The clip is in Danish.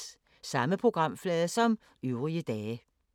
Samme programflade som øvrige dage